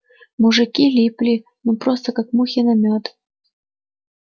мужики липли ну просто как мухи на мёд